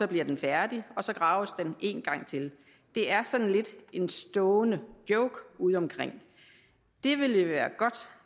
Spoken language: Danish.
bliver den færdig og så graves der en gang til det er sådan lidt en stående joke udeomkring det ville være godt